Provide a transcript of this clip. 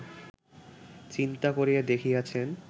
চিন্তা করিয়া দেখিয়াছেন